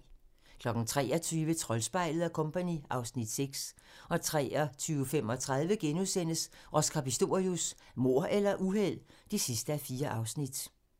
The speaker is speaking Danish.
23:00: Troldspejlet & Co. (Afs. 6) 23:35: Oscar Pistorius: Mord eller uheld? (4:4)*